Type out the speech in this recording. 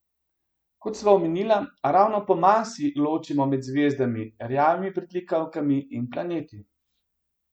Kot sva omenila, ravno po masi ločimo med zvezdami, rjavimi pritlikavkami in planeti.